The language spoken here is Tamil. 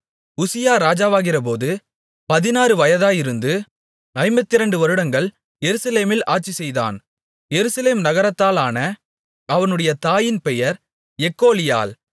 உசியா ராஜாவாகிறபோது பதினாறு வயதாயிருந்து ஐம்பத்திரண்டு வருடங்கள் எருசலேமில் ஆட்சிசெய்தான் எருசலேம் நகரத்தாளான அவனுடைய தாயின் பெயர் எக்கோலியாள்